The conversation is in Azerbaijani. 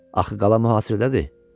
Axı qala muhasirədədir.